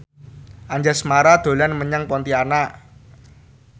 Anjasmara dolan menyang Pontianak